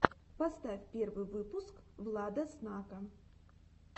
поставь первый выпуск влада снака